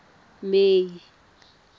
may